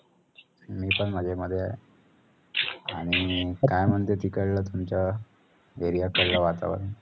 मी पण मजेमध्ये आहे. आणि काय म्हणते तिकडल तुमच्या area कडल वातावरण?